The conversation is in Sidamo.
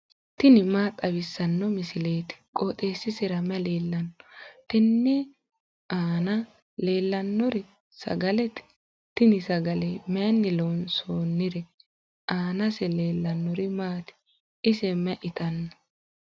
tini maa xawissanno misileeti? qooxeessisera may leellanno? tenne aana leellannori sagalete. tini sagale mayiinni loonsoonnire? aanase leellannori maati? ise may itanno?